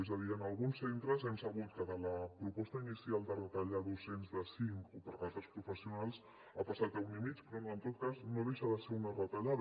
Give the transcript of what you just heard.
és a dir en alguns centres hem sabut que de la proposta inicial de retallar docents de cinc o d’altres professionals ha passat a un i mig però en tot cas no deixa de ser una retallada